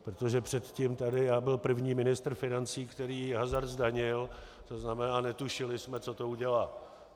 Protože předtím tady, já byl první ministr financí, který hazard zdanil, to znamená, netušili jsme, co to udělá.